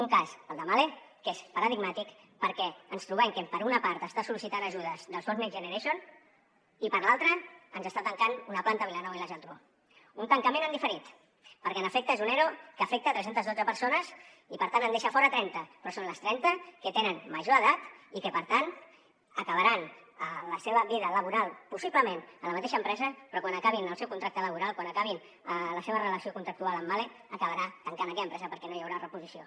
un cas el de mahle que és paradigmàtic perquè ens trobem que per una part està sol·licitant ajudes del fons next generation i per l’altra ens està tancant una planta a vilanova i la geltrú un tancament en diferit perquè en efecte és un ero que afecta tres cents i dotze persones i per tant en deixa fora trenta però són les trenta que tenen major edat i que per tant acabaran la seva vida laboral possiblement a la mateixa empresa però quan acabin el seu contracte laboral quan acabin la seva relació contractual amb mahle acabarà tancant aquella empresa perquè no hi haurà reposició